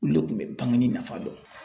Olu le kun be bangini nafa dɔn